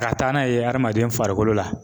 Ka taa n'a ye adamaden farikolo la .